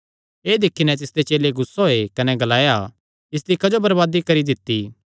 एह़ दिक्खी नैं तिसदे चेले गुस्सा होये कने ग्लाया इसदी क्जो बरबादी करी दित्ती